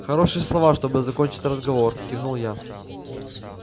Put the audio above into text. хорошие слова чтобы закончить разговор кивнул я